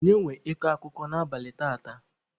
Onye nwe ịkọ akụkọ n'abalị taata?